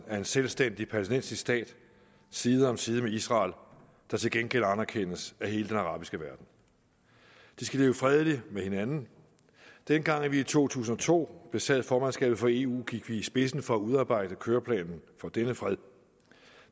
af en selvstændig palæstinensisk stat side om side med israel der til gengæld anerkendes af hele den arabiske verden de skal leve fredeligt med hinanden dengang vi i to tusind og to besad formandskabet for eu gik vi i spidsen for at udarbejde køreplanen for denne fred